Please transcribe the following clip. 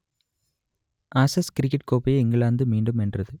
Ashes cricket கோப்பையை England மீண்டும் வென்றது